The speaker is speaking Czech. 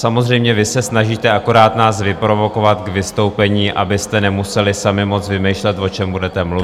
Samozřejmě vy se snažíte akorát nás vyprovokovat k vystoupení, abyste nemuseli sami moc vymýšlet, o čem budete mluvit.